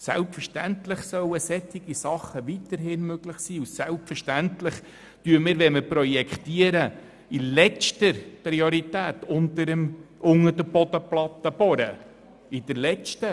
Selbstverständlich soll dergleichen weiterhin möglich sein, und wenn wir projektieren, sehen wir natürlich in letzter Priorität vor, unter der Bodenplatte zu bohren.